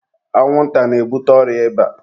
anwụnta na-ebute ọrịa ịba